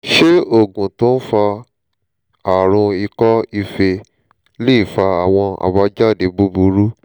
ṣé oògùn tó ń fa àrùn iko ife lè fa àwọn àbájáde búburú?